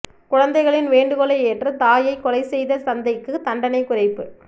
குழந்தைகளின் வேண்டுகோளை ஏற்று தாயை கொலை செய்த தந்தைக்கு தண்டனை குறைப்பு